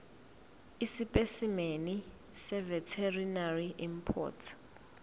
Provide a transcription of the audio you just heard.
esipesimeni seveterinary import